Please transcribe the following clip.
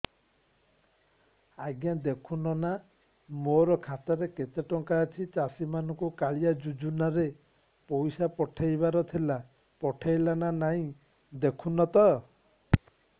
ଆଜ୍ଞା ଦେଖୁନ ନା ମୋର ଖାତାରେ କେତେ ଟଙ୍କା ଅଛି ଚାଷୀ ମାନଙ୍କୁ କାଳିଆ ଯୁଜୁନା ରେ ପଇସା ପଠେଇବାର ଥିଲା ପଠେଇଲା ନା ନାଇଁ ଦେଖୁନ ତ